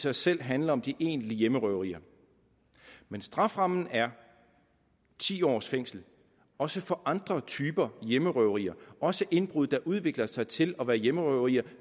sig selv handler om de egentlige hjemmerøverier men strafferammen er ti års fængsel også for andre typer hjemmerøverier også indbrud der udvikler sig til at være hjemmerøverier